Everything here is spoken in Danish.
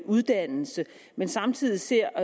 uddannelse men samtidig ser